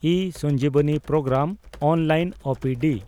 E Sanjeevani programme (online ᱳ ᱯᱤ ᱰᱤ)